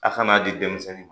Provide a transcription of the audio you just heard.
A kan'a di denmisɛnnin ma